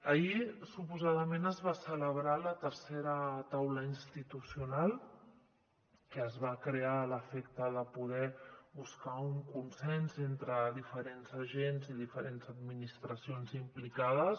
ahir suposadament es va celebrar la tercera taula institucional que es va crear a l’efecte de poder buscar un consens entre diferents agents i diferents administra·cions implicades